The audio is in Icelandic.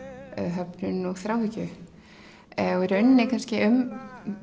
höfnun og þráhyggju í rauninni um